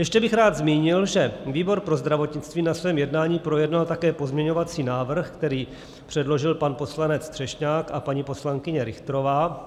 Ještě bych rád zmínil, že výbor pro zdravotnictví na svém jednání projednal také pozměňovací návrh, který předložil pan poslanec Třešňák a paní poslankyně Richterová.